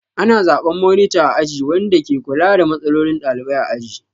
Ana zaɓen monita a aji wanda ke kula da matsalolin ɗalibai a aji.